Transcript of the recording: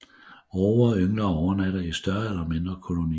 Råger yngler og overnatter i større eller mindre kolonier